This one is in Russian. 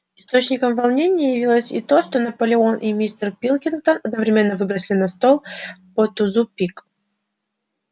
источником волнения явилось и то что и наполеон и мистер пилкингтон одновременно выбросили на стол по тузу пик